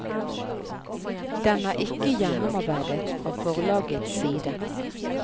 Den er ikke gjennomarbeidet fra forlagets side.